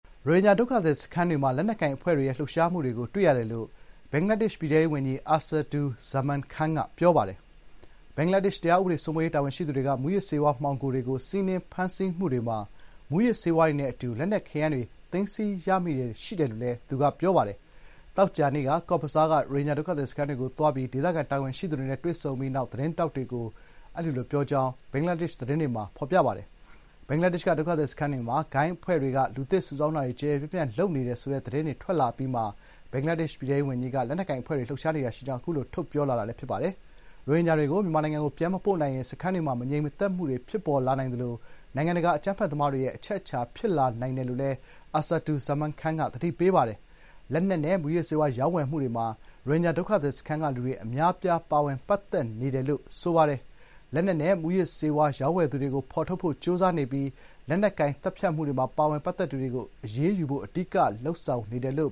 ရိုဟင်ဂျာဒုက္ခသည်စခန်းတွေမှာ လက်နက်ကိုင်အဖွဲ့တွေရဲ့ လှုပ်ရှားမှုတွေကို တွေ့ရတယ်လို့ ဘင်္ဂလားဒေ့ရှ် ပြည်ထဲရေးဝန်ကြီး အာဆာဒူဇာမန်ခန်း (Asaduzzaman Khan) က ပြောပါတယ်။ ဘင်္ဂလားဒေ့ရှ် တရားဥပဒေစိုးမိုးရေး တာဝန်ရှိသူတွေက မူးယစ်ဆေးဝါး မှောင်ခိုတွေကို စီးနင်းဖမ်းဆီးမှုတွေမှာ မူးယစ်ဆေးဝါးတွေနဲ့ အတူ လက်နက်ခဲယမ်းများ သိမ်းဆည်းရမိမှုတွေ ရှိတယ်လို့လည်း သူကပြောပါတယ်။ သောကြာနေ့က ကော့ဇ်ဘဇား Cox's Bazar ရိုဟင်ဂျာဒုက္ခသည်စခန်းတွေကို သွားပြီး ဒေသခံတာဝန်ရှိသူတွေနဲ့ တွေ့ဆုံပြီးနောက် သတင်းထောက်တွေကို အာဆာဒူဇာမန်ခန်းက အဲဒီလိုပြောကြောင်း ဘင်္ဂလားဒေ့ရှ် သတင်းတွေမှာ ဖော်ပြပါတယ်။ ဘင်္ဂလားဒေ့ရှ်က ဒုက္ခသည်စခန်းတွေမှာ ဂိုဏ်းအဖွဲ့တွေက လူသစ်စုဆောင်းတာတွေ ကျယ်ကျယ်ပြန့်ပြန့်လုပ်နေတယ် ဆိုတဲ့ သတင်းတွေ ထွက်လာအပြီးမှာ ဘင်္ဂလားဒေ့ရှ် ပြည်ထဲရေးဝန်ကြီးက လက်နက်ကိုင်အဖွဲ့တွေ လှုပ်ရှားနေတာရှိကြောင်း အခုလို ထုတ်ပြောလာတာ ဖြစ်ပါတယ်။ “ရိုဟင်ဂျာတွေကို မြန်မာနိုင်ငံကို ပြန်မပို့နိုင်ရင် စခန်းတွေမှာ မငြိမ်မသက်မှုတွေ ဖြစ်ပေါ်လာနိုင်သလို နိုင်ငံတကာ အကြမ်းဖက်သမားတွေရဲ့ အချက်အချာ ဖြစ်လာနိုင်တယ်” လို့လည်း အာဆာဒူဇာမန်ခန်းက သတိပေးပါတယ်။ လက်နက်နဲ့ မူးယစ်ဆေးဝါး ရောင်းဝယ်မှုတွေမှာ ရိုဟင်ဂျာ ဒုက္ခသည်စခန်းက လူတွေ အများအပြား ပါဝင် ပတ်သက်နေတယ်လို့ ဘင်္ဂလားဒေ့ရှ် ပြည်ထဲရေးဝန်ကြီးက ပြောပြီး “လက်နက်နဲ့ မူးယစ်ဆေးဝါး ရောင်းဝယ်သူတွေကို ဖော်ထုတ်ဖို့ ကြိုးစားနေပြီး လက်နက်ကိုင်သတ်ဖြတ်မှုတွေမှာ ပါဝင်ပတ်သက်သူတွေကို အရေးယူနိုင်ဖို့ အဓိကလုပ်ဆောင်နေတယ်” လို့